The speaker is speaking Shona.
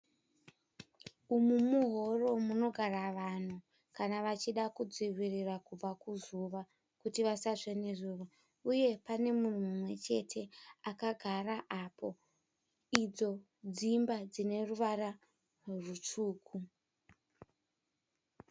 Umu muhoro munogara vanhu kana vachida kudzivirira kubva kuzuva kuti vasatsve nezuva uye pane munhu mumwe chete akagara apo. Idzo dzimba dzineruvara rutsvuku.